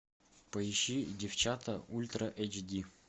поищи девчата ультра эйч ди